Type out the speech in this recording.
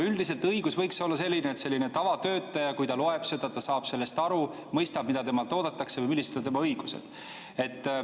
Üldiselt õigus võiks olla selline, et tavatöötaja, kui ta loeb seda, ta saab sellest aru, mõistab, mida temalt oodatakse või millised on tema õigused.